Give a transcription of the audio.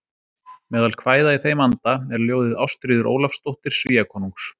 Meðal kvæða í þeim anda er ljóðið Ástríður Ólafsdóttir Svíakonungs